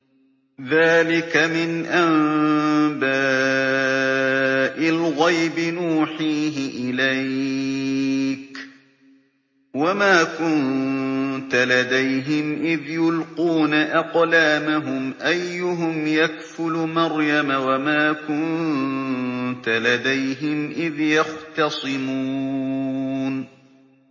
ذَٰلِكَ مِنْ أَنبَاءِ الْغَيْبِ نُوحِيهِ إِلَيْكَ ۚ وَمَا كُنتَ لَدَيْهِمْ إِذْ يُلْقُونَ أَقْلَامَهُمْ أَيُّهُمْ يَكْفُلُ مَرْيَمَ وَمَا كُنتَ لَدَيْهِمْ إِذْ يَخْتَصِمُونَ